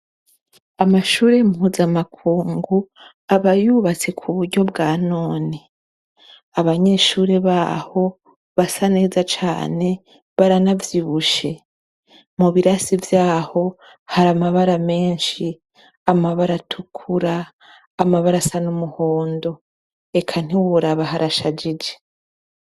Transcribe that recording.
Amashure mpuzamakungu, aba yubatse kubuhinga bwa none. Abanyeshure baho basa neza cane baranavyibushe. Mu birasi vyaho haramabara menshi, amabara atukura, amabara asa n'umuhondo eka ntiworaba harshajije.